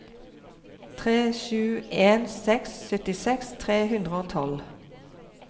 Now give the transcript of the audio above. tre sju en seks syttiseks tre hundre og tolv